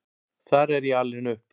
Þar er ég alin upp.